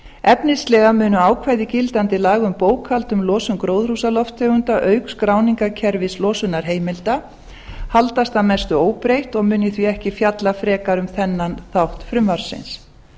efnislega munu ákvæði gildandi laga um bókhald um losun gróðurhúsalofttegunda auk skráninga kerfis losunarheimilda haldast að mestu óbreytt og mun ég því ekki fjalla frekar um þennan þátt frumvarpsins